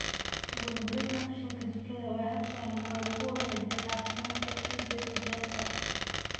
Burburinta qashinka jikada waa hab sahlan oo lagu wanaajiyo caafimaadka ciidda beerta.